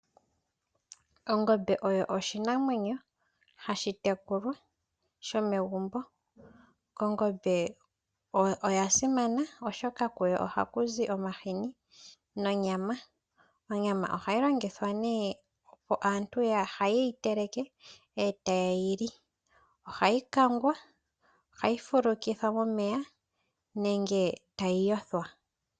Ongombe oyo oshinamwenyo hashi tekulwa, shomegumbo. Ongombe oya simana oshoka kuyo ohaku zi omahini nonyama. Onyama ohayi longithwa nee opo aantu ye yi telekwa ndele tayi liwa. Ohayi kangwa, ohayi fulukithwa momeya, nenge tayi yothwa.